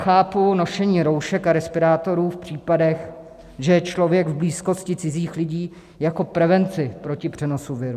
Chápu nošení roušek a respirátorů v případech, že je člověk v blízkosti cizích lidí, jako prevenci proti přenosu viru.